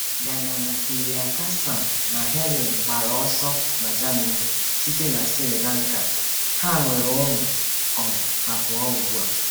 Gnanapirakasam na Helen gbara ọsọ na Germany site na Sri Lanka, ha nwere ụmụ um abụọ ugbu a.